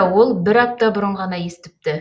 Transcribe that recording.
ол бір апта бұрын ғана естіпті